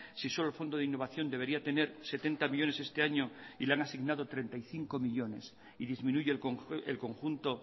si solo el fondo de innovación debería tener setenta millónes este año y le han asignado treinta y cinco millónes y disminuye el conjunto